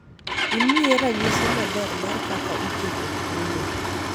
imiye ranyisi maber mar kaka iketo kungo